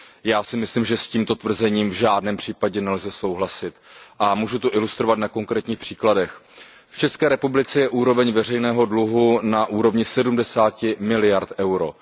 Já si myslím, že s tímto tvrzením v žádném případě nelze souhlasit a můžu to ilustrovat na konkrétních příkladech. V České republice je úroveň veřejného dluhu na úrovni 70 miliard EUR.